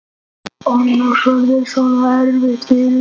Annars verður þetta svo erfitt fyrir þig.